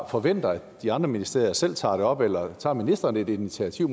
forvente at de andre ministerier selv tager det op eller tager ministeren et initiativ